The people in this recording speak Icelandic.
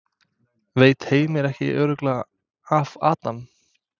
Veit Heimir ekki alveg örugglega af Adam?